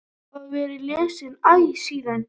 Þau hafa verið lesin æ síðan.